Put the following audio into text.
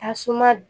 Tasuma